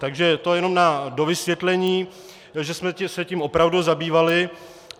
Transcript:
Takže to jenom na dovysvětlení, že jsme se tím opravdu zabývali.